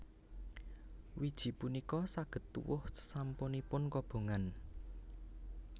Wiji punika saged tuwuh sasampunipun kobongan